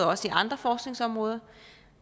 også andre forskningsområder